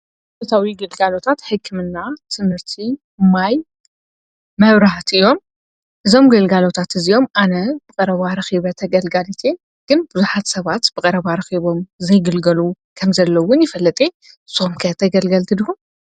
ተታዊ ጌልጋሎታት ሕክምና ትምህርቲ ማይ መብራህት እዮም ዞም ጌልጋሎታት እዚኦም ኣነ ብቐረባርኺበ ተገልጋልት ግን ብዙኃት ሰባት ብቐረባ ርኺቦም ዘይግልገሉ ከም ዘለውን ይፈለጠ ሶምከያ ተገልገልቲ ድሁን።